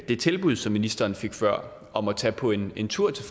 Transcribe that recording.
det tilbud som ministeren fik før om at tage på en en tur til